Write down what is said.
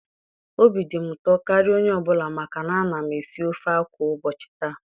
Obi dị m ụtọ karịa onye obula maka na a na m esi ofe akwụ ụbọchị ta